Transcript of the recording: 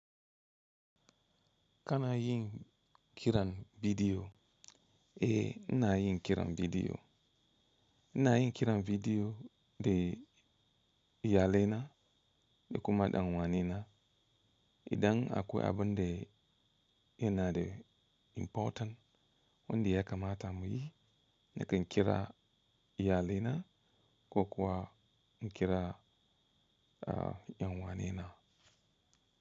Kana yin kiran bidiyo? Eh ina yin kiran bidiyo. Ina yin kiran bidiyo da iyalina da kuma ɗan uwanina. Idan akwai abun da yana da important wanda ya kamata mu yi, nakan kira iyalaina ko kuwa in kira yan uwanina.